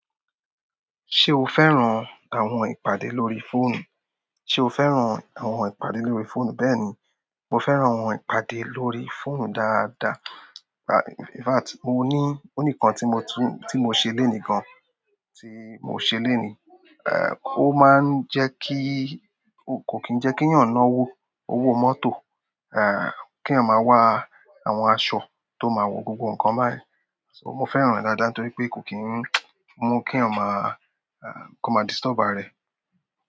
Ṣé o fẹ́ràn àwọn ìpàdé lórí fóònù? Ṣé o fẹ́ràn àwọn ìpàdé lórí fóònù? Bẹ́ẹ̀ni, mo fẹ́ràn ìpàdé lórí fóònù dáadáa. In fact, mo ní, ó nìkan tí mo tú, tí mo ṣe léènì gan, tí mo se léènì. Ehn, ó máa ń jẹ́ kí, kò kín ń jẹ́ kí èyàn ná wó owó mọ́tò, ehn, kéyàn máa wá àwọn aṣọ tó máa wọ, gbogbo ǹkan bá yẹn so mo fẹ́ràn á dáadáa nítorí pé kò kín ń mú kí èyàn máa, ehn, comma disturb ààrẹ.